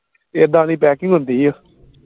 ਇਦਾ ਦੀ packing ਹੁੰਦੀ ਓ